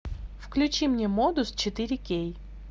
включи мне модус четыре кей